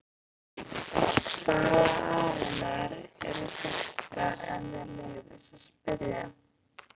Hvaða aðilar eru þetta ef mér leyfist að spyrja?